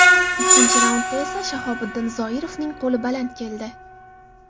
Ikkinchi raundda esa Shahobiddin Zoirovning qo‘li baland keldi.